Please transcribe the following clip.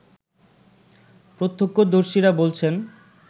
প্রত্যক্ষদর্শীরা বলছেন